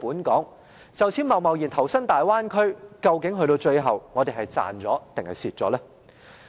若就此貿然投身大灣區，究竟最後我們是賺是賠呢？